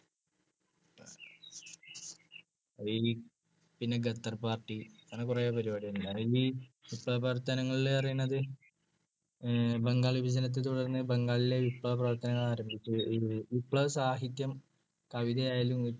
അത് കഴിഞ്ഞു പിന്നെ ഗാദർ പാർട്ടി. അങ്ങനെ കുറെ പരിപാടികളുണ്ട്. വിപ്ലവപ്രവർത്തനങ്ങൾ എന്ന് പറയുന്നത് ബംഗാൾ വിഭജനത്തെത്തുടർന്ന് ബംഗാളിൽ വിപ്ലവപ്രവർത്തനങ്ങൾ ആരംഭിച്ചു. വിപ്ലവസാഹിത്യം കവിതയായാലും